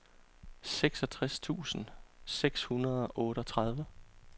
seksogtres tusind seks hundrede og otteogtredive